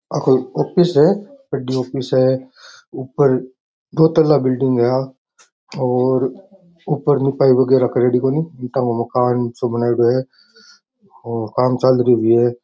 या कोई ऑफिस है बड़ी ऑफिस है ऊपर दो तला बिल्डिंग है और लिपाई बगेरा करेड़ी कोणी ईंटा की मकान सो बनोड़ि है काम चल रियो है।